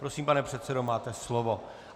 Prosím, pane předsedo, máte slovo.